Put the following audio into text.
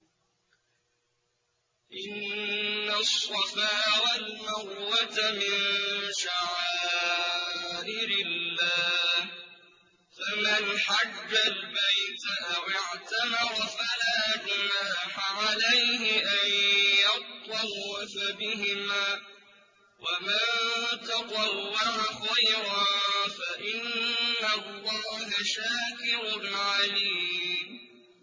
۞ إِنَّ الصَّفَا وَالْمَرْوَةَ مِن شَعَائِرِ اللَّهِ ۖ فَمَنْ حَجَّ الْبَيْتَ أَوِ اعْتَمَرَ فَلَا جُنَاحَ عَلَيْهِ أَن يَطَّوَّفَ بِهِمَا ۚ وَمَن تَطَوَّعَ خَيْرًا فَإِنَّ اللَّهَ شَاكِرٌ عَلِيمٌ